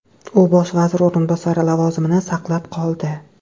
U bosh vazir o‘rinbosari lavozimini saqlab qoldi.